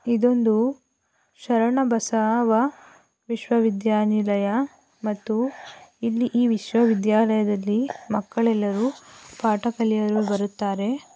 ಇದೊಂದು ಶರಣ ಬಸವ ವಿಶ್ವವಿದ್ಯಾನಿಲಯ ಮತ್ತು ಇಲ್ಲಿ ಈ ವಿಶ್ವವಿದ್ಯಾಲಯದಲ್ಲಿ ಮಕ್ಕಳೆಲ್ಲರು ಪಾಠ ಕಲೆಯಲು ಬರುತ್ತಾರೆ .